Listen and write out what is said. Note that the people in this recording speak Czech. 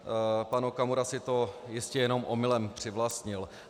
Pan Okamura si to jistě jenom omylem přivlastnil.